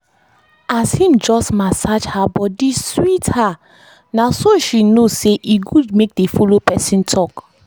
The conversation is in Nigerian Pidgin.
as him just message her body sweet her na so she know say e good make dey follow person talk